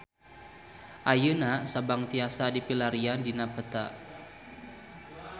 Ayeuna Sabang tiasa dipilarian dina peta